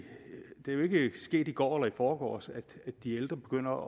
jo ikke sket i går eller i forgårs at de ældre begynder